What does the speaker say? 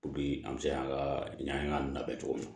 Bi an bɛ se ka ɲaamɛn cogo min na